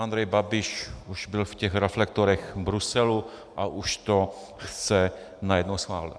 Andrej Babiš už byl v těch reflektorech v Bruselu a už to chce najednou schválit.